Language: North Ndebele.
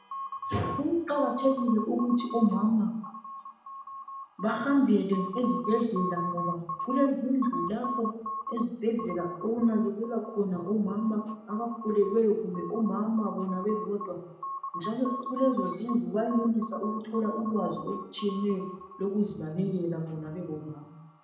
Kuqakathekile ukuthi omama bahambele ezibhedlela ngoba kulezindlu lapho ezibhedlela okunakekelwa khona omama abakhulelweyo kumbe omama bona bebodwa njalo kulezo zindlu bayenelisa ukuthola ulwazi olutshiyeneyo lokuzinakekela bona bengomama.